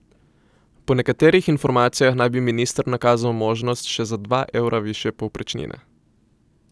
Po nekaterih informacijah naj bi minister nakazal možnost še za dva evra višje povprečnine.